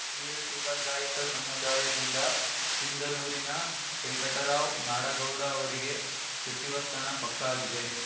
ವೀರಶೈವ ಲಿಂಗಾಯತ ಸಮುದಾಯದಿಂದ ಸಿಂಧನೂರಿನ ವೆಂಕಟರಾವ್‌ ನಾಡಗೌಡ ಅವರಿಗೆ ಸಚಿವ ಸ್ಥಾನ ಪಕ್ಕಾ ಆಗಿದೆ